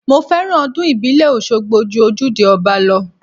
Mo fẹ́ràn ọdún ìbílẹ̀ Oṣogbo ju ojúde ọba lọ.